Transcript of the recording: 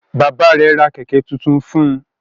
Bàbá rẹ̀ ra Kẹ̀kẹ́ tuntun fun